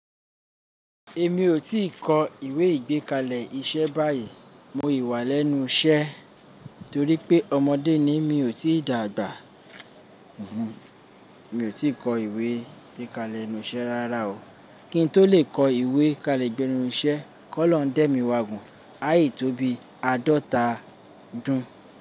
Èmi ò tíì kọ ìwé ìgbékalẹ̀ iṣẹ́ báyìí. Mo yi wà lẹ́nu iṣẹ́ torí pé ọmọdé ni. Mi ò tíì dàgbà. Mi ò tí ì kọ ìwé ìgbékalẹ̀ ẹnu iṣẹ́ rárá o. Kí n tó lè kọ ìwé kalẹ̀ gbẹ́nu iṣẹ́, kọ́ lọ̀uń dẹ́ mi wà gùn. Áì tó bi àádọ́ta dún.